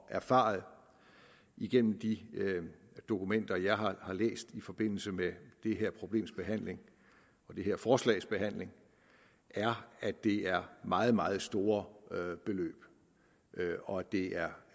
erfaret igennem de dokumenter jeg har læst i forbindelse med det her problems behandling og det her forslags behandling er at det er meget meget store beløb og at det er